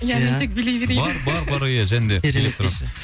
иә мен тек билей берейін бар бар бар иә және де